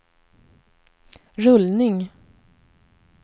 rullning